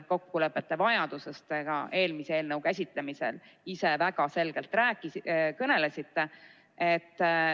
Kokkulepete vajadusest te ka eelmise eelnõu käsitlemisel ise väga selgelt kõnelesite.